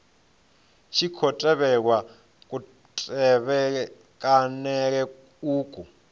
tshi khou tevhelwa kutevhekanele uku